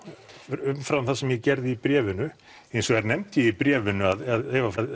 umfram það sem ég gerði í bréfinu hins vegar nefndi ég í bréfinu að ef að